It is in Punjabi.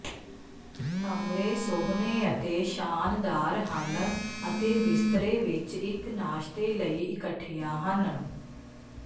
ਕਮਰੇ ਸੋਹਣੇ ਅਤੇ ਸ਼ਾਨਦਾਰ ਹਨ ਅਤੇ ਬਿਸਤਰੇ ਵਿਚ ਇਕ ਨਾਸ਼ਤੇ ਲਈ ਇਕਠੀਆਂ ਹਨ